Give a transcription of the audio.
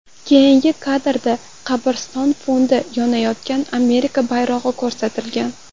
Keyingi kadrda qabriston fonida yonayotgan Amerika bayrog‘i ko‘rsatilgan.